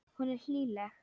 Hún er hlýleg.